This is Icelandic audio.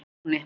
Móatúni